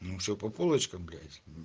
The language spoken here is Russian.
ну все по полочкам блять